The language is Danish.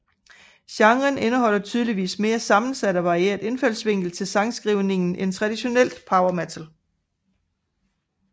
Genren indeholder tydeligvis en mere sammensat og varieret indfaldsvinkel til sangskrivningen end traditionelt power metal